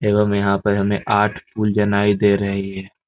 एवं यहाँ पे हमें आठ पूल जनाई दे रही है।